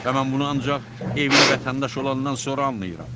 Və mən bunu ancaq evli vətəndaş olandan sonra anlayıram.